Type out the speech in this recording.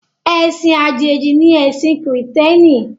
Ẹ̀sìn Àjèjì ni ẹ̀sìn kìrììtẹ́nì